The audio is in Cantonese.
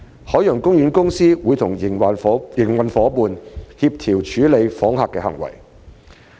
海洋公園公司會與營運夥伴協調處理訪客的行為。